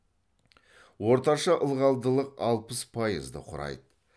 орташа ылғалдылық алпыс пайызды құрайды